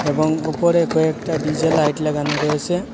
এবং ওপরে কয়েকটা ডি_জে লাইট লাগানো রয়েছে।